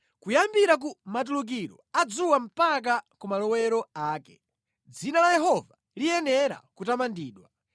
Kuyambira ku matulukiro a dzuwa mpaka ku malowero ake, dzina la Yehova liyenera kutamandidwa.